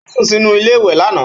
Ó sùn sínú iléèwé lánàá